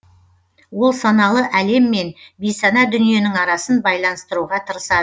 ол саналы әлем мен бейсана дүниенің арасын байланыстыруға тырысады